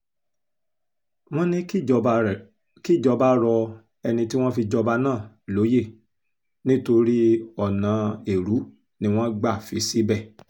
wọ́n ní kíjọba rọ ẹni tí wọ́n fi jọba náà lóyè nítorí ọ̀nà èrú ni wọ́n gbà fi í síbẹ̀